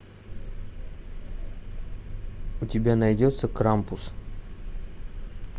у тебя найдется крампус